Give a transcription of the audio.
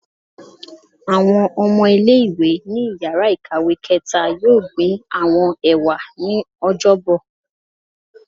Awọn ọmọ ile-iwe ni íyarà ikáwe kẹta yọọ gbín awọn ewa ni Ọjọbọ